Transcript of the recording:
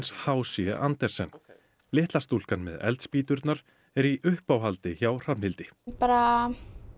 h c Andersen litla stúlkan með eldspýturnar er í uppáhaldi hjá Hrafnhildi bara